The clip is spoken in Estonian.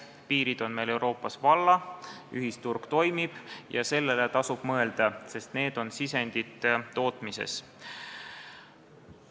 Piirid on Euroopas valla, ühisturg toimib ja sellele tasub mõelda, sest need on tootmissisendid.